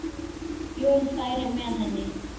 Jón færi með henni.